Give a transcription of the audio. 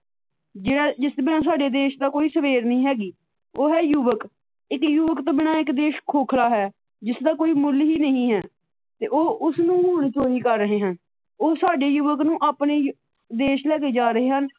ਜਿਹੜਾ ਜਿਸ ਤੋਂ ਬਿਨਾਂ ਸਾਡੇ ਦੇਸ਼ ਦਾ ਕੋਈ ਸਵੇਰ ਨਹੀ ਹੈਗੀ, ਉਹ ਹੈ ਯੁਵੱਕ ਇੱਕ ਯੁਵੱਕ ਤੋ ਬਿਨਾਂ ਇੱਕ ਦੇਸ਼ ਖੋਖਲਾ ਹੈ । ਜਿਸ ਦਾ ਕੋਈ ਮੁੱਲ ਹੀ ਨਹੀ ਹੈ ਤੇ ਉਹ ਉਸ ਨੂੰ ਹੁਣ ਚੋਰੀ ਕਰ ਰਹੇ ਹਨ ਉਹ ਸਾਡੇ ਯੂਵਕ ਨੂੰ ਆਪਣੇ ਦੇਸ਼ ਲੈ ਕੇ ਜਾ ਰਹੇ ਹਨ।